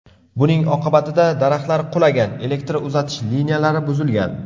Buning oqibatida daraxtlar qulagan, elektr uzatish liniyalari buzilgan.